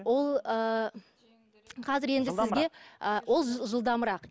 ол ы қазір енді сізге ы ол жылдамырақ